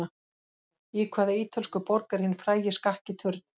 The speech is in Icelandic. Í hvaða ítölsku borg er hinn frægi Skakki turn?